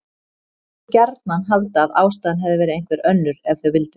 Þau máttu gjarnan halda að ástæðan hefði verið einhver önnur ef þau vildu.